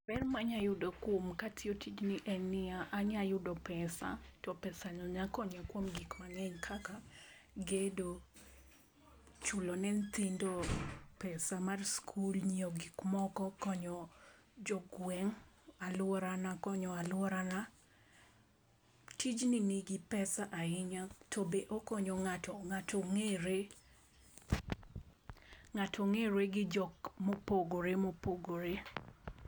Ber ma anyalo yudo kuom ka atiyo tijni en niya, anyalo yudo pesa to pesano nyalo konya kuom gik mang'eny kaka gedo, chulo ne nyithindo pesa mar skul, ng'iewo gik moko, konyo jogweng', aluorana konyo aluorana. Tjni nigi pesa ahinya to be okonyo ng'ato, ng'ato ng'ere gi jok mopogore mopogore.